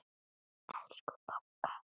Elsku Bogga.